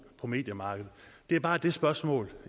på mediemarkedet det er bare det spørgsmål